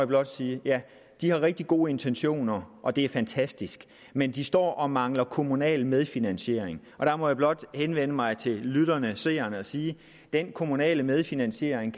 blot sige ja de har rigtig gode intentioner og det er fantastisk men de står og mangler kommunal medfinansiering der må jeg blot henvende mig til lytterne og seerne og sige at den kommunale medfinansiering